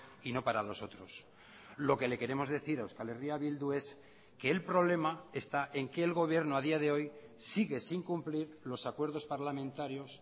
y no para los otros lo que le queremos decir a euskal herria bildu es que el problema esta en que el gobierno a día de hoy sigue sin cumplir los acuerdos parlamentarios